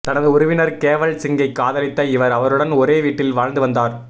தனது உறவினர் கேவல் சிங்கை காதலித்த இவர் அவருடன் ஒரே வீட்டில் வாழ்ந்து வந்தார்